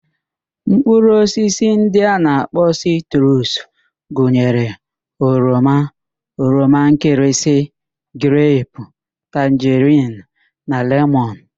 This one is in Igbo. Mkpụrụ osisi ndị a na-akpọ sitrus gụnyere: oroma, oroma nkịrịsị, grepu, tanjerin na lemọn